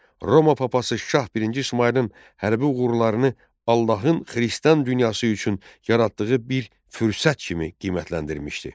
Roma papası şah birinci İsmayılın hərbi uğurlarını Allahın Xristian dünyası üçün yaratdığı bir fürsət kimi qiymətləndirmişdi.